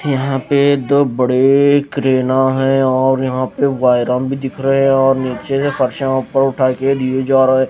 यहाँ पे दो बड़े क्रेनाँ हैं और यहाँ पे वाइरान भी दिख रहे ए और निच्चे से फरशाँ उपर उठा के लिए जा रहे--